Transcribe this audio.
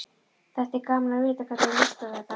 Þætti gaman að vita hvernig þér líst á þetta?